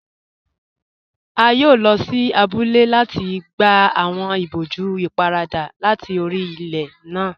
A yóò lọ sí àbúlẹ̀ láti gbà awọn ìbòjú ìpárada láti orí ilẹ̀ náà.